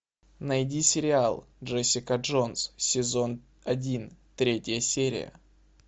найди сериал джессика джонс сезон один третья серия